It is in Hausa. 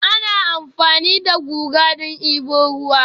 Ana amfani da guga don debo ruwa